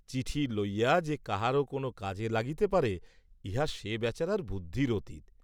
চিঠি লইয়া যে কাহারও কোন কাজে লাগিতে পারে, ইহা সে বেচারার বুদ্ধির অতীত।